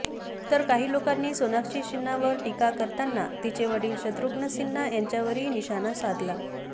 तर काही लोकांनी सोनाक्षी सिन्हावर टीका करताना तिचे वडील शत्रुघ्न सिन्हा यांच्यावरही निशाणा साधला